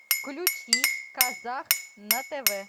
включи казах на тв